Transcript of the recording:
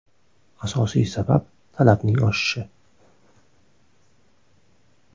Asosiy sabab talabning oshishi.